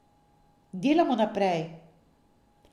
Delamo naprej.